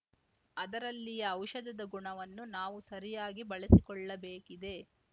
ಅದರಲ್ಲಿಯ ಔಷಧದ ಗುಣವನ್ನು ನಾವು ಸರಿಯಾಗಿ ಬಳಸಿಕೊಳ್ಳಬೇಕಿದೆ